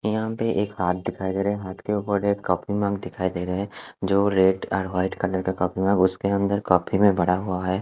यहां पे एक हाथ दिखाई दे रहा है हाथ के ऊपर एक कॉफी मग दिखाई दे रहा हैं जो रेड एंड व्हाइट कलर का कॉफी मग उसके अंदर कॉफी में भरा हुआ है।